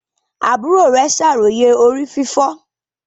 Àbúrò rẹ ṣàròyé orí fífọ́.